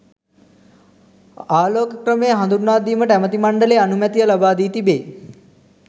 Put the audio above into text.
ආලෝක ක්‍රමය හදුන්වා දීමට ඇමැති මණ්ඩලය අනුමැතිය ලබාදී තිබේ.